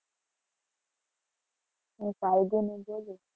હું ફાલ્ગુની બોલું.